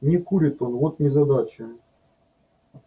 не курит он вот незадача